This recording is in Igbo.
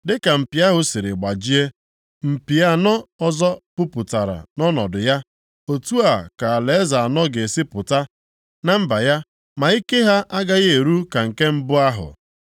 Dịka mpi ahụ siri gbajie, mpi anọ ọzọ pupụta nʼọnọdụ ya, otu a ka alaeze anọ ga-esi pụta na mba ya, ma ike ha agaghị eru ka nke mbụ ahụ.